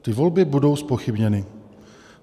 Ty volby budou zpochybněny.